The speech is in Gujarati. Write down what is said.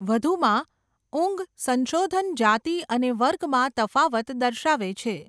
વધુમાં, ઊંઘ સંશોધન જાતિ અને વર્ગમાં તફાવત દર્શાવે છે.